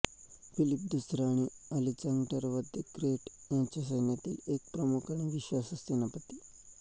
Philip दुसरा आणि Alexander the Great यांच्या सैन्यातील एक प्रमुख आणि विश्वासू सेनापती